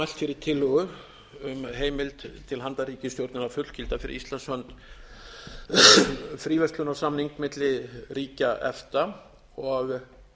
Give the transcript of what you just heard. fyrir tillögu um heimild til handa ríkisstjórninni að fullgilda fyrir íslands hönd fríverslunarsamning milli ríkja efta og